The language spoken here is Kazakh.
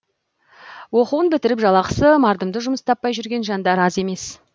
оқуын бітіріп жалақысы мардымды жұмыс таппай жүрген жандар аз емес